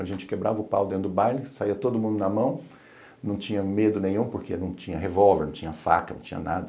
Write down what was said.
A gente quebrava o pau dentro do baile, saía todo mundo na mão, não tinha medo nenhum, porque não tinha revólver, não tinha faca, não tinha nada.